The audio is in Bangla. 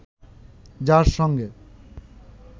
যার সঙ্গে